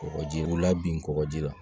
Kɔgɔjiw la bin kɔgɔji la